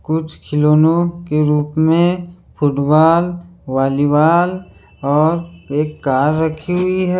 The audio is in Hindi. कुछ खिलौनो के रूप में फुटबाल वॉलीबाल और एक कार रखी हुई है।